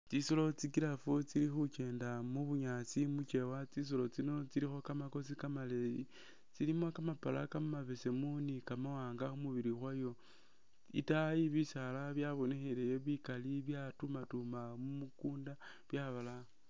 Tsisolo tsi giraffe tsi’khukyenda mubunyaasi mukyewa tsisolo tsino tsilikho kamakosi kamaleyi tsilimo kamapala kamabeesemu ni kamawanga khumubilo kwayo , itayi bisaala byabonekheleyo bikali bya tumatuma mumu kunda byabalaya.